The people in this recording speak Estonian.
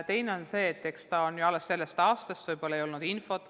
Teine asi on see, et see toetus on ju alles sellest aastast, nii et võib-olla ei olnud piisavalt infot.